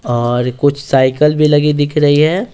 और कुछ साइकिल भी लगी दिख रही है।